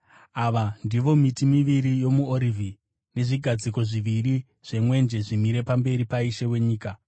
Ava ndivo miti miviri yomuorivhi nezvigadziko zviviri zvemwenje zvimire pamberi paIshe wenyika.